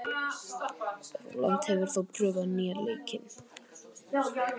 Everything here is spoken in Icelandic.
Rólant, hefur þú prófað nýja leikinn?